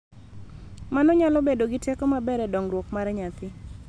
Mano nyalo bedo gi teko maber e dongruok mar nyathi.